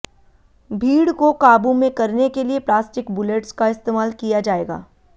भीड़ को काबू में करने के लिए प्लास्टिक बुलेट्स का इस्तेमाल किया जाएगा